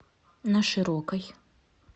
на широкой